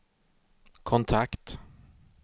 kontakt